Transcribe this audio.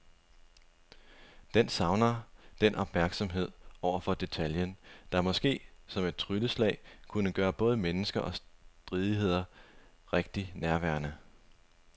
Den savner den opmærksomhed over for detaljen, der måske som et trylleslag kunne gøre både mennesker og stridigheder rigtig nærværende.